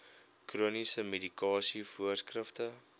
chroniese medikasie voorskrifte